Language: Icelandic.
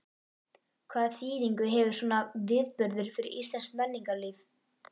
Hvaða þýðingu hefur svona viðburður fyrir íslenskt menningarlíf?